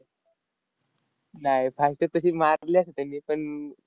नाय, fastest तशी मारल्यान तेनी. पण,